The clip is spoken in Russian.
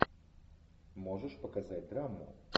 можешь показать драму